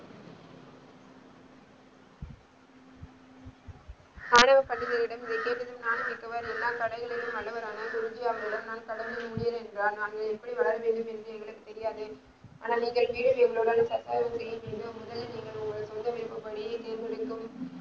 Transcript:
ஆணவ பண்டிதரிடம எல்லா கலைகளிலும் வல்லவரான குருஜி அவர்களிடம் நான் கலந்து முடியவில்லை என்றார் நாங்கள் எப்படி வளர்ந்தோம் என்று எங்களுக்கு தெரியாது ஆனால் நீங்கள ,